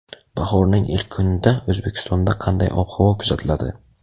Bahorning ilk kunida O‘zbekistonda qanday ob-havo kuzatiladi?.